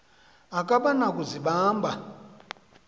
akaba na kuzibamba